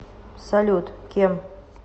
салют кем